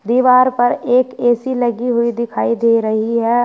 दीवार पर एक ए_सी लगी हुई दिखाई दे रही है।